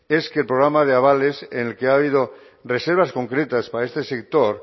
es que el programa de avales en el que ha habido reservas concretas para este sector